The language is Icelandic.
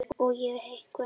Og ég sé eitthvað nýtt.